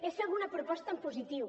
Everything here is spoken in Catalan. és fer alguna proposta en positiu